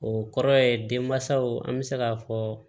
O kɔrɔ ye den mansaw an bɛ se k'a fɔ